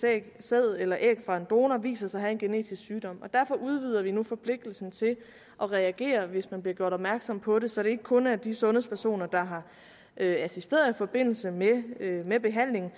af sæd eller æg fra en donor viser sig at have en genetisk sygdom derfor udvider vi nu forpligtelsen til at reagere hvis man bliver gjort opmærksom på det så det ikke kun er de sundhedspersoner der har assisteret i forbindelse med behandlingen